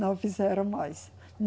Não fizeram mais.